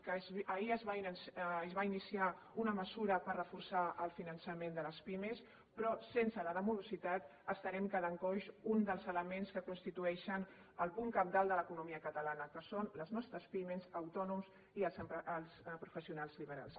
que ahir es va iniciar una mesura per reforçar el finançament de les pimes però sense la de morositat estarà quedant coix un dels elements que constitueixen el punt cabdal de l’economia catalana que són les nostres pimes els autònoms i els professionals liberals